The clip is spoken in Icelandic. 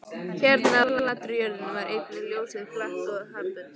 Hérna á flatri jörðinni var einnig ljósið flatt og jarðbundið.